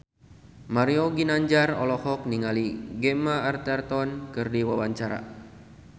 Mario Ginanjar olohok ningali Gemma Arterton keur diwawancara